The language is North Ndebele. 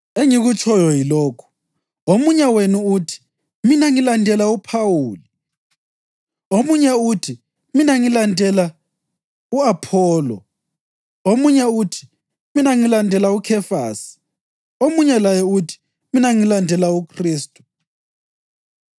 Engikutshoyo yilokhu: Omunye wenu uthi, “Mina ngilandela uPhawuli”; omunye uthi, “Mina ngilandela u-Apholo”; omunye uthi, “Mina ngilandela uKhefasi”; omunye laye uthi, “Mina ngilandela uKhristu.”